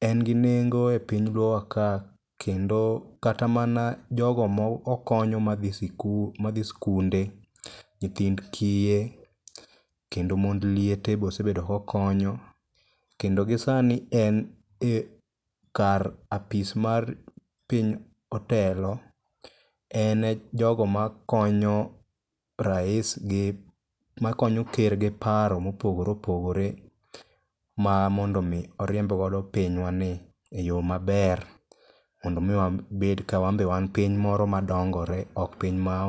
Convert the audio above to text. en gi nengo e piny luowa ka kendo kata mana jogo ma okonyo madhi skunde, nyithind kiye, kendo mond liete bosebedo kokonyo kendo gisani en e kar apis mar piny otelo ene jogo makonyo rais gi ker gi paro mopogore opogore ma mondo omi oriembgodo pinywani e yo maber mondo omi wabed ka wan be wan piny moro madongore ok piny maonge dongruok.